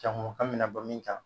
Jaŋo an mɛna bɔ min kan